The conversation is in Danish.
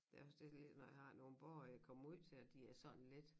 Ja hvis det lige når jeg har nogen borgere jeg kommer ud til at de er sådan lidt